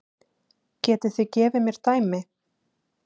Getið þið gefið mér dæmi?